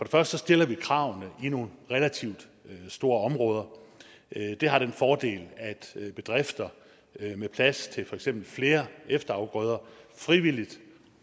første stiller vi kravene i nogle relativt store områder det har den fordel at bedrifter med plads til for eksempel flere efterafgrøder frivilligt